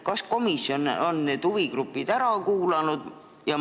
Kas komisjon on huvigrupid ära kuulanud?